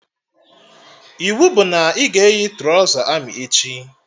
Iwu bụ na ị ga-eyi trọza amị echi!